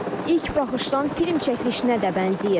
İlk baxışdan film çəkilişinə də bənzəyir.